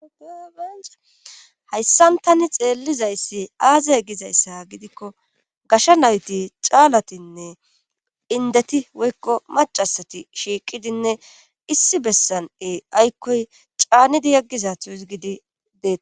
Hayssan tani xeellizayssi aazey gizayssa gidikko gasha nayti caalatinne indeti woykko macasati shiiqidinne issi bessan e aykkoy caanidi yaggiza tuusgidi deei.